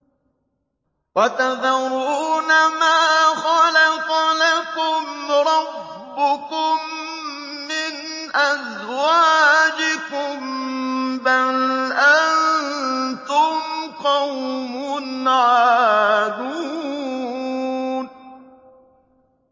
وَتَذَرُونَ مَا خَلَقَ لَكُمْ رَبُّكُم مِّنْ أَزْوَاجِكُم ۚ بَلْ أَنتُمْ قَوْمٌ عَادُونَ